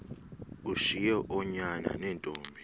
ushiye oonyana neentombi